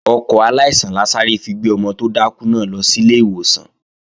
Ọkọ̀ aláìsàn la sáré fi gbé ọmọ tó dákú náà lọ sílé ìwòsàn